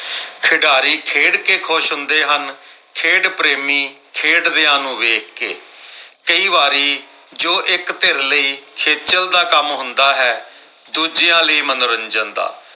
ਖਿਡਾਰੀ ਖੇਡ ਕਿ ਖੁਸ਼ ਹੁੰਦੇ ਹਨ ਖੇਡ ਪ੍ਰੇਮੀ ਖੇਡਦਿਆਂ ਨੂੰ ਵੇਖ ਕੇ ਕਈ ਵਾਰੀ ਜੋ ਇੱਕ ਧਿਰ ਲਈ ਖੇਚਲ ਦਾ ਕੰਮ ਹੁੰਦਾ ਹੈ ਦੂਜਿਆਂ ਲਈ ਮਨੋਰੰਜਨ ਦਾ